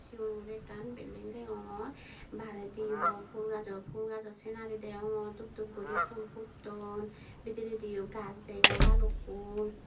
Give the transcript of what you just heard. cigon guri ekkan belding degongor bairediyo fhul gajo fhul gajo sinarito degongor dub dub guri fhul putton bidirediyo gajch degong balukkun.